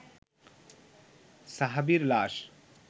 সাহাবীর লাশ